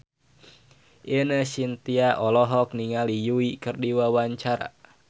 Ine Shintya olohok ningali Yui keur diwawancara